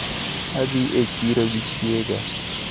Adhiga e chiro gi chiega.